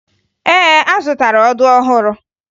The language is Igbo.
Ee, azụtara ọdụ ọhụrụ